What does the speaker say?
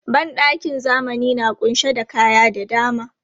Ban ɗakin zamani na ƙunshe da kaya da dama.